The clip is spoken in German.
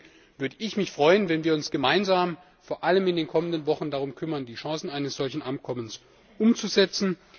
Deswegen würde ich mich freuen, wenn wir uns gemeinsam vor allem in den kommenden Wochen darum kümmern, die Chancen eines solchen Abkommens umzusetzen.